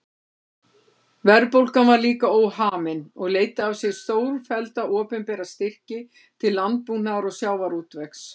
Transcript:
Verðbólgan var líka óhamin og leiddi af sér stórfellda opinbera styrki til landbúnaðar og sjávarútvegs.